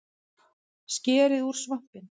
Skerið út svampinn